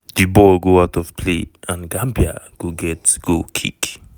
di ball go out of play and gambia go get goal kick.